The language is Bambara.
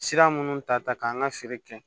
Sira minnu ta ta k'an ka feere kɛ